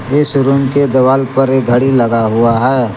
इस रूम के दीवाल पर एक घड़ी लगा हुआ है।